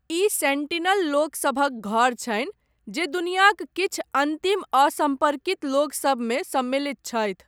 ई Sentinel लोक सभक घर छनि जे दुनियाक किछु अन्तिम असम्पर्कित लोक सभमे सम्मिलित छथि।